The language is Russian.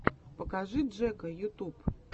покажи джэка ютуб